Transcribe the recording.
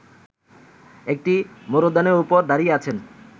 একটি মরূদ্যানের ওপর দাঁড়িয়ে আছেন